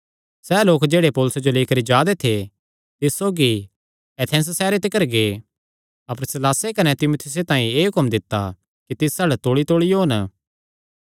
सैह़ लोक जेह्ड़े पौलुसे जो लेई करी जा दे थे तिस सौगी एथेंस सैहरे तिकर गै अपर सीलासे कने तीमुथियुसे तांई एह़ हुक्म दित्ता कि तिस अल्ल तौल़ीतौल़ी ओन